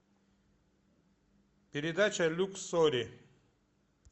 передача люксори